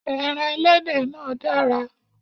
Ẹran ẹlẹ́dẹ̀ náà dára